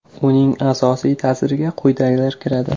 Uning asosiy ta’siriga quyidagilar kiradi.